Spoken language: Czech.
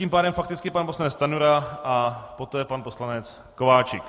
Tím pádem fakticky pan poslanec Stanjura a poté pan poslanec Kováčik.